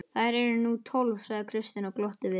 Þær eru nú tólf, sagði Kristján og glotti við.